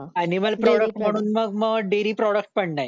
animal products म्हणून मग dairy products पण नाहीत